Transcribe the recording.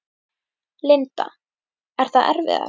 Linda: Er það erfiðara?